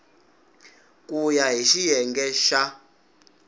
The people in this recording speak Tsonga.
ku ya hi xiyenge xa